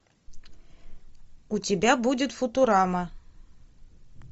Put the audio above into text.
у тебя будет футурама